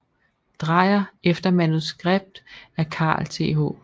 Dreyer efter manuskript af Carl Th